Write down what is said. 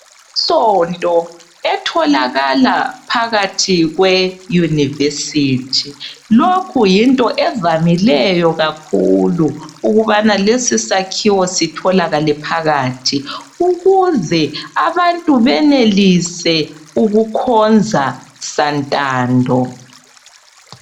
Isonto etholakala phakathi kwe university lokhu yinto evamileyo kakhulu ukubana lesi sakhiwo sitholakale phakathi ukuze abantu benelise ukukhonza santando.